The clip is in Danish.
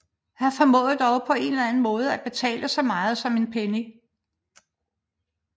Han formåede dog på en eller anden måde at betale så meget som en penny